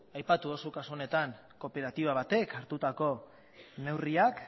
aipatu duzu kasu honetan kooperatiba batek hartutako neurriak